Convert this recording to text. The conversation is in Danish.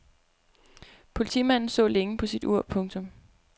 Politimanden så længe på sit ur. punktum